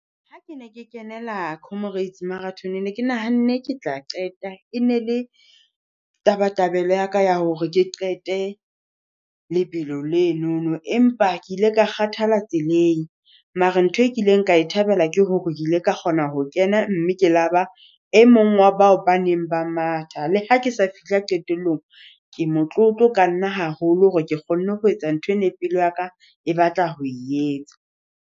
Ha ke ne ke kenela comrades , ne ke nahanne ke tla qeta. E ne le tabatabelo ya ka ya hore ke qete lebelo lenono empa ke ile ka kgathala tseleng. Mara ntho e kileng ka e thabela ke hore ile ka kgona ho kena mme ke la ba e mong wa bao ba neng ba matha. Le ha ke sa fihla qetellong, ke motlotlo ka nna haholo hore ke kgonne ho etsa ntho e ne pelo ya ka e batla ho e etsa.